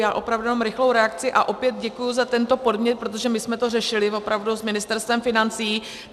Já opravdu jenom rychlou reakci a opět děkuji za tento podnět, protože my jsme to řešili opravdu s Ministerstvem financí.